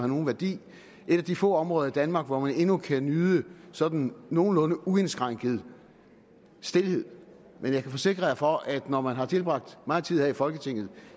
nogen værdi et af de få områder i danmark hvor man endnu kan nyde sådan nogenlunde uindskrænket stilhed og jeg kan forsikre for at når man har tilbragt meget tid her i folketinget